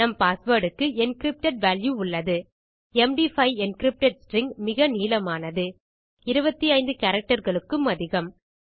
நம் passwordக்கு encrypted value உள்ளது எம்டி5 என்கிரிப்டட் ஸ்ட்ரிங் மிக நீளமானது 25 கேரக்டர்ஸ் க்கும் அதிகம்